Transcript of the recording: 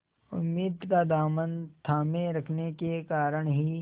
उम्मीद का दामन थामे रखने के कारण ही